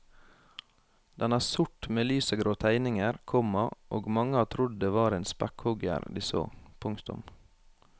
Den er sort med lysegrå tegninger, komma og mange har trodd det var en spekkhugger de så. punktum